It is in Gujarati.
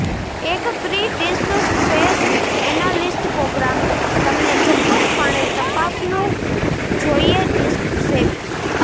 એક free disk space analyst program તમને ચોક્કસપણે તપાસવું જોઈએ ડિસ્ક સેવી